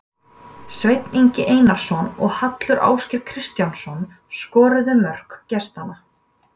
Sveinn Ingi Einarsson og Hallur Ásgeir Kristjánsson skoruðu mörk gestanna.